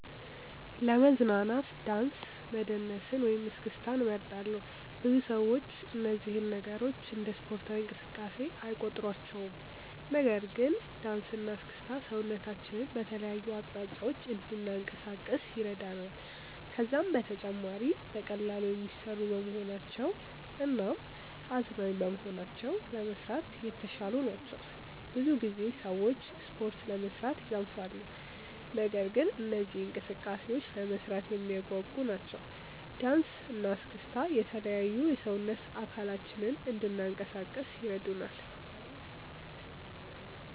ለመዝናናት ዳንስ መደነስን ወይም እስክስታን እመርጣለሁ። ብዙ ሰዎች እነዚህን ነገሮች እንደ ስፖርታዊ እንቅስቃሴ አይቆጥሯቸውም። ነገር ግን ዳንስ እና እስክስታ ሰውነታችንን በተለያዩ አቅጣጫዎች እንድናንቀሳቅስ ይረዳናል። ከዛም በተጨማሪ በቀላሉ የሚሰሩ በመሆናቸው እናም አዝናኝ በመሆናቸው ለመስራት የተሻሉ ናቸው። ብዙ ጊዜ ሰዎች ስፖርት ለመስራት ይሰንፋሉ። ነገር ግን እነዚህ እንቅስቃሴዎች ለመስራት የሚያጓጉ ናቸው። ዳንሰ እና እስክስታ የተለያዩ የሰውነት አካላችንን እንናንቀሳቀስ ይረዱናል።